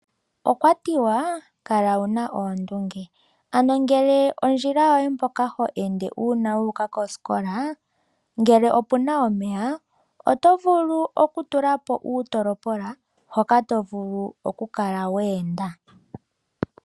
Okwatiwa kala wuna oondunge, ano ngele ondjila yoye mpoka ho ende uuna wu uka kosikola oyina omeya, oto vulu okutulapo uutolopola hoka tovulu oku kala wa enda.